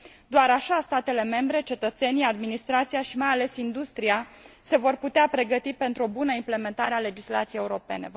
Doar așa statele membre, cetățenii, administrația și, mai ales, industria se vor putea pregăti pentru o bună implementare a legislației europene.